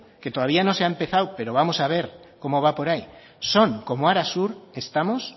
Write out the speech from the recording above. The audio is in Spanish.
que todavía no se ha empezado pero vamos a ver cómo va por ahí son como arasur estamos